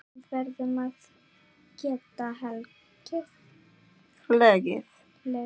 Við verðum að geta hlegið.